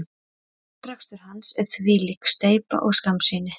Brottrekstur hans er þvílík steypa og skammsýni.